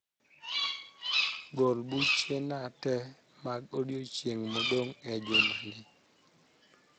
gol buchena te mag odiechieng modong e jumani